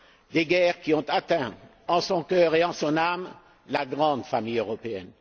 des guerres qui ont atteint en son cœur et en son âme la grande famille européenne.